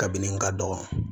Kabini n ka dɔgɔ